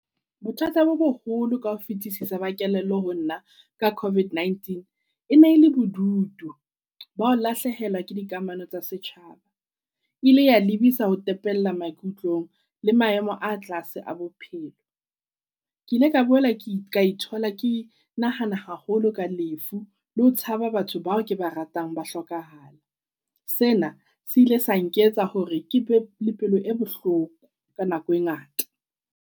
Bothata bo boholo kaho fitisisa ba kelello ho nna ka COVID-19 e ne le bodutu bao lahlehelwa ke dikamano tsa setjhaba. E ile ya lebisa ho tepella maikutlong le maemo a tlase a bophelo. Ke ile ka boela ke ka ithola ke nahana haholo ka lefu le ho tshaba batho bao ke ba ratang ba hlokahala. Sena se ile sa nketsa hore ke bele pelo e bohloko ka nako e ngata.